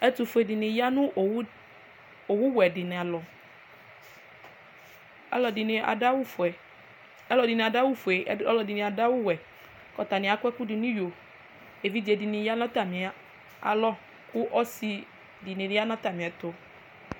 ɛtofue di ni ya no owu wɛ di ni alɔ aloɛdini ado awu fue aloɛdini ado awu fue aloɛdini ado awu wɛ kò atani akɔ ɛkò do n'iyo evidze di ni ya n'atami alɔ kò ɔse di ni ya n'atamiɛto